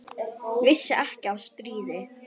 Vissi ekki af stríði.